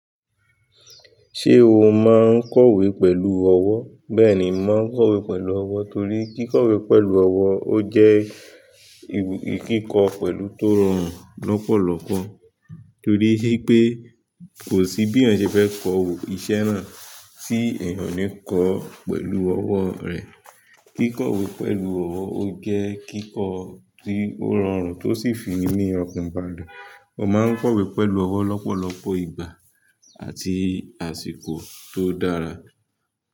Ṣé o máa ń kọ̀wé pẹ̀lú ọwọ́? Bẹ́ẹ̀ni, mò maa ń kọ̀wé pẹ̀lú ọwọ́ torí kíkọ̀wé pẹ̀lú ọwọ́, ó jẹ́ ìkíkọ pẹ̀lú tó rùn lọ́pọ̀lọpọ̀ torí pé kò sí bí ẹ̀yàn ṣe fẹ́ kọ ìṣẹ́ náà tí ẹ̀yàn kò ní kọ ọ́ pẹ̀lú ọwọ́ rẹ̀. Kíkọ̀wé pẹ̀lú ọwọ́ ó jẹ́ kíkọ tí ó rọrùn tó sì fi inú ọkàn balẹ̀. Mo máa ń kọ̀wé pẹ̀lú ọwọ́ lọ́pọ̀lọpọ̀ ìgbà àti àsìkò tó dára.